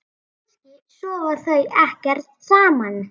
Kannski sofa þau ekkert saman?